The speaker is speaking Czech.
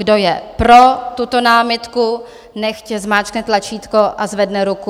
Kdo je pro tuto námitku, nechť zmáčkne tlačítko a zvedne ruku.